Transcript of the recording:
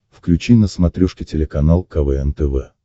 включи на смотрешке телеканал квн тв